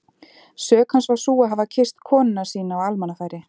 Sök hans var sú að hafa kysst konuna sína á almannafæri!